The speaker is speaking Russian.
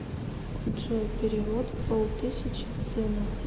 джой перевод пол тысячи сыну